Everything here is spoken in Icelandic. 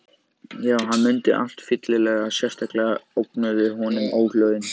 Jú, hann mundi allt fyllilega, sérstaklega ógnuðu honum óhljóðin.